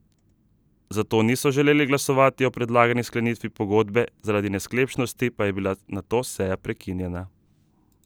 Zato niso želeli glasovati o predlagani sklenitvi pogodbe, zaradi nesklepčnosti pa je bila nato seja prekinjena.